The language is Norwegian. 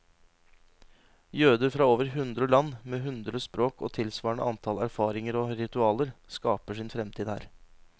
Jøder fra over hundre land, med hundre språk og tilsvarende antall erfaringer og ritualer, skaper sin fremtid her.